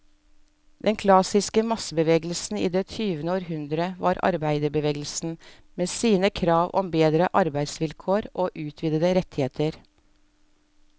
Den klassiske massebevegelsen i det tyvende århundre var arbeiderbevegelsen, med sine krav om bedre arbeidsvilkår og utvidede rettigheter.